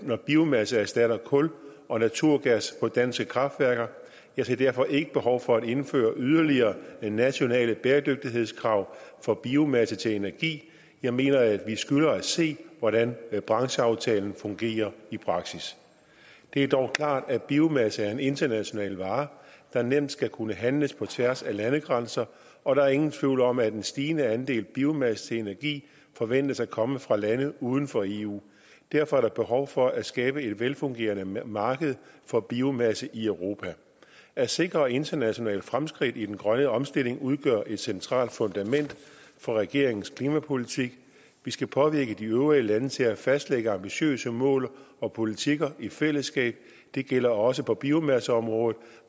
når biomasse erstatter kul og naturgas på danske kraftværker jeg ser derfor ikke behov for at indføre yderligere nationale bæredygtighedskrav for biomasse til energi jeg mener at vi skylder at se hvordan brancheaftalen fungerer i praksis det er dog klart at biomasse er en international vare der nemt skal kunne handles på tværs af landegrænser og der er ingen tvivl om at en stigende andel biomasse til energi forventes at komme fra lande uden for eu derfor er der behov for at skabe et velfungerende marked for biomasse i europa at sikre internationale fremskridt i den grønne omstilling udgør et centralt fundament for regeringens klimapolitik vi skal påvirke de øvrige lande til at fastlægge ambitiøse mål og politikker i fællesskab det gælder også på biomasseområdet